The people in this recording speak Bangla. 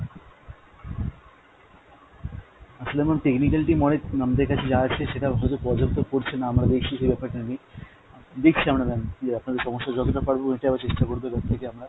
আসলে ma'am technical team আমাদের কাছে যা আছে সেটা হয়তো পর্যাপ্ত পরছে না, আমরা দেখছি সেই ব্যাপারটা নিয়ে। দেখছি আমরা ma'am যে আপনাদের সমস্যা যতটা পারবো মেটাবার চেষ্টা করব এবার থেকে আমরা।